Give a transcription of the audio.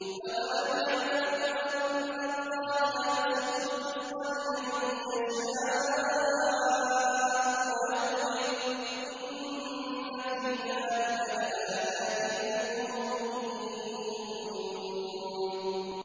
أَوَلَمْ يَعْلَمُوا أَنَّ اللَّهَ يَبْسُطُ الرِّزْقَ لِمَن يَشَاءُ وَيَقْدِرُ ۚ إِنَّ فِي ذَٰلِكَ لَآيَاتٍ لِّقَوْمٍ يُؤْمِنُونَ